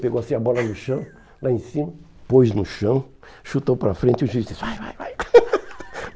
Pegou assim a bola no chão, lá em cima, pôs no chão, chutou para frente e o juiz disse, vai, vai, vai.